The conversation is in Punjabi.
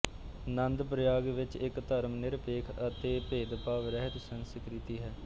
ਨੰਦਪ੍ਰਯਾਗ ਵਿੱਚ ਇੱਕ ਧਰਮਨਿਰਪੇਖ ਅਤੇ ਭੇਦਭਾਵ ਰਹਿਤ ਸੰਸਕ੍ਰਿਤੀ ਹੈ